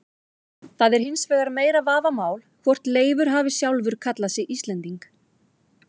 Það er hins vegar meira vafamál hvort Leifur hefði sjálfur kallað sig Íslending.